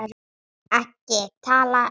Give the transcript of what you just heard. EKKI TALA UM